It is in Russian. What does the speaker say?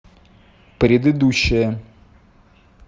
предыдущая